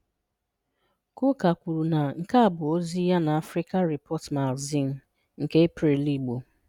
Kụkah kwuru na nke a bụ ozi ya na Africa Report Magazine nke April Igbo.